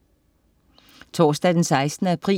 Torsdag den 16. april